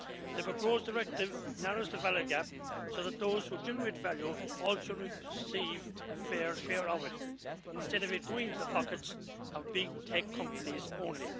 The proposed directive narrows the value gap, so that those who generate value also receive a fair share of it, instead of it going into the pockets of big tech companies only.